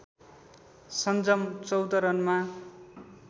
सन्जम १४ रनमा